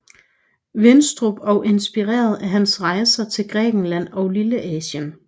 Winstrup og inspireret af hans rejser til Grækenland og Lilleasien